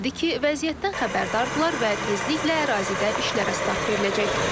Bildirildi ki, vəziyyətdən xəbərdardırlar və tezliklə ərazidə işlərə start veriləcək.